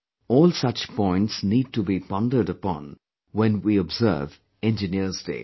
All such points need to be pondered upon when we observe Engineers Day